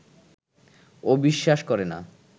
ও বিশ্বাস করে না